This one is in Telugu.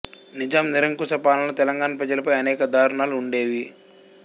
నిజాం నిరంకుశ పాలనలో తెలంగాణ ప్రజలపై అనేక దారుణాలు ఉండేవి